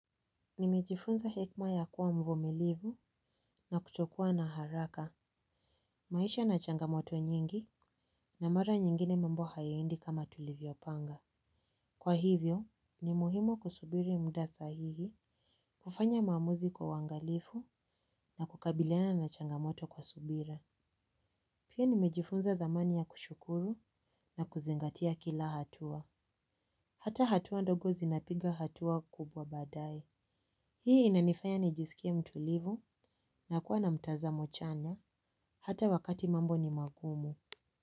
Nimejifunza hekima ya kuwa mvumilivu na kutokua na haraka. Maishaya na changamoto nyingi na mara nyingine mambo haya endi kama tulivyo panga. Kwa hivyo, ni muhimu kusubiri mudasa hihi kufanya maamuzi kwau wangalifu na kukabiliana na changamoto kwa subira. Pia nimejifunza dhamani ya kushukuru na kuzingatia kila hatua. Hata hatua ndogo zinapiga hatua kubwa baadaye. Hii inanifanya nijisikie mtu livu na kuwa na mtaza mochana hata wakati mambo ni magumu.